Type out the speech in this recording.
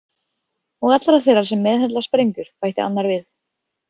Og allra þeirra sem meðhöndla sprengjur, bætti annar við.